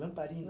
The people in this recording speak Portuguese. Lamparina?